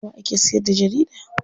Nawa ake siyarda jarida?